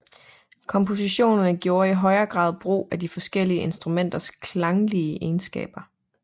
Komponisterne gjorde i højere grad brug af de forskellige instrumenters klanglige egenskaber